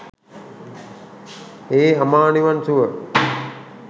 ඒ අමා නිවන් සුව